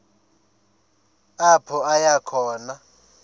apho aya khona